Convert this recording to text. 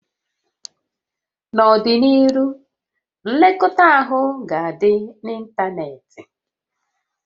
N'ọdịnihu, nlekọta ahụ ga-adị n'ịntanetị